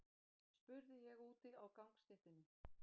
spurði ég úti á gangstéttinni.